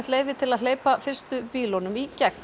leyfi til að hleypa fyrstu bílunum í gegn